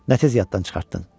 Nə tez yaddan çıxartdın?